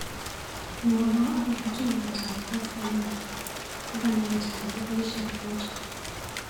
Mwawa akobo tuiyetap koskoliny kokang'et dakikaishek mut.